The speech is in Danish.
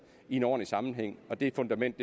i en ordentlig sammenhæng det fundament